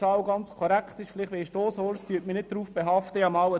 Ich weiss nicht, ob diese Zahl korrekt ist.